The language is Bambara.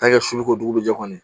su ko dugu jɛ kɔnɔ